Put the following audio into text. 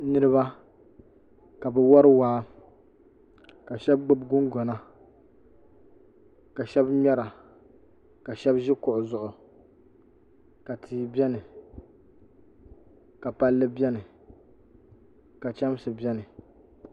niriba ka bɛ wari waa ka shaba gbubi gungɔna ka shaba ŋmera ka shaba ʒi kuɣu zuɣu ka tia beni ka palli beni ka chamsi beni